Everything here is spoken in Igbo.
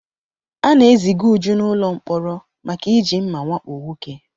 A na-eziga uju n'ụlọ mkpọrọ maka iji mma wakpo nwoke